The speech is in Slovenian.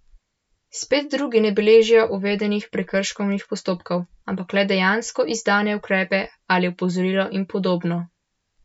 Spet drugi ne beležijo uvedenih prekrškovnih postopkov, ampak le dejansko izdane ukrepe ali opozorila in podobno.